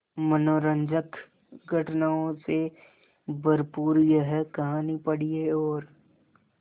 मनोरंजक घटनाओं से भरपूर यह कहानी पढ़िए और